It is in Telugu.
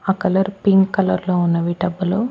ఆ కలర్ పింక్ కలర్ లో ఉన్నవి డబ్బులు.